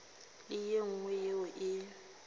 le ye nngwe yeo e